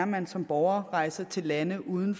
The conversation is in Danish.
man som borger rejser til lande uden